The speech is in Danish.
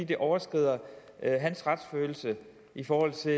det overskrider hans retsfølelse i forhold til